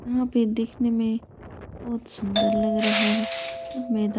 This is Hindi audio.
यहाँ पे दिखने में बहुत सुंदर लग रहा है। मैदान मे --